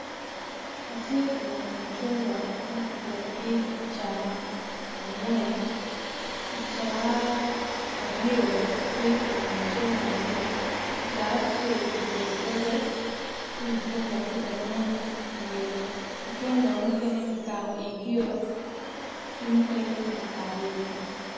Atye ka neno mucungwa ma kipikogi i kicaa angwen ki caa aryo ape ka neno mucungwane kicaa acel ki dolo doge ci mucungwa tye ka nen iye mucungwa mukene kikako igio ki mukene pe kikako igi.